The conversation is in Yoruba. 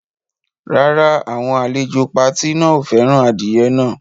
Rárá, àwọn àlejò pati náà ò fẹ́ràn adìyẹ náà.